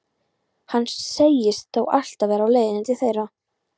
Hann segist þó alltaf vera á leiðinni til þeirra.